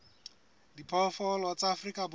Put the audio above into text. a diphoofolo tsa afrika borwa